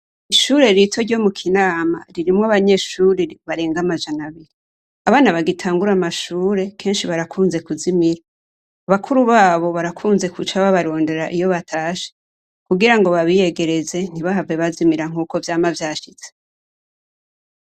Ishure rito ryo mu KInama ririmwo abanyeshure barenga amajana abiri. Abana bagitangura amashure, kenshi barakunze kuzimira. Bakuru babo barakunze guca babarondera iyo batashe kugira ngo babiyegereze, ntibahave bazimira nk'uko vyama vyashitse.